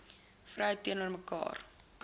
vrou teenoor mekaar